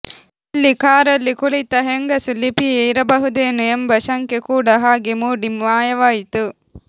ಎಲ್ಲಿ ಕಾರಲ್ಲಿ ಕುಳಿತ ಹೆಂಗಸು ಲಿಪಿಯೇ ಇರಬಹುದೇನೋ ಎಂಬ ಶಂಕೆ ಕೂಡ ಹಾಗೆ ಮೂಡಿ ಮಾಯವಾಯಿತು